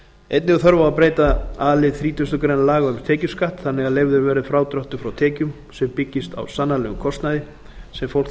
einnig er þörf á að breyta a lið þrítugustu greinar laga um tekjuskatt þannig að leyfður verði frádráttur frá tekjum sem byggist á sannanlegum kostnaði sem fólk þarf